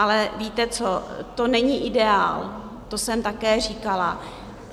Ale víte co, to není ideál, to jsem také říkala.